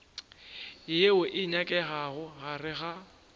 yeo e nyakegago gare ga